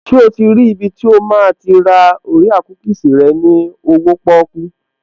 Ṣé o ti rí ibi tí o máa ti ra orea kúkìsì rẹ ní owóo pọ́kú?